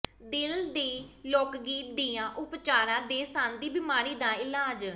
ਦਿਲ ਦੀ ਲੋਕਗੀ ਦੀਆਂ ਉਪਚਾਰਾਂ ਦੇ ਸੰਨ੍ਹ ਦੀ ਬਿਮਾਰੀ ਦਾ ਇਲਾਜ